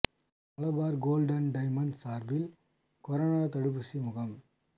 Malabar gold and diamonds சார்பில் corona தடுப்பூசி முகாம்